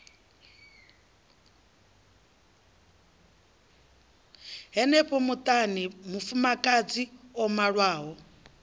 henefho muṱani mufumakadzi o malwaho